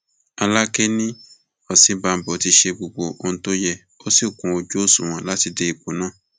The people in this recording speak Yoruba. alákẹ ni òsínbàbò ti ṣe gbogbo ohun tó yẹ ó sì kún ojú òṣùwọn láti dé ipò náà